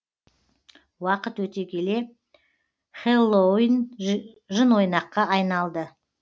уақыт өте келе хэллоуин жынойнаққа айналды